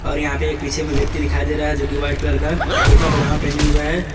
और यहां पर एक पीछे में व्यक्ति दिखाई दे रहा है जो की वाइट कलर का कुर्ता पजामा पहने हुए हैं।